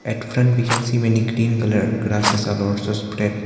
At front we can see many green colour grasses are also spread.